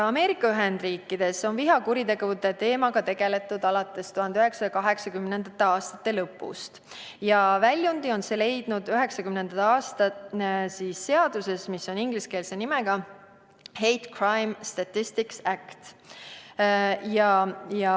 Ameerika Ühendriikides on vihakuritegude teemaga tegeletud alates 1980. aastate lõpust ja väljundi on see leidnud 1990. aasta seaduses, mille ingliskeelne pealkiri on Hate Crime Statistics Act.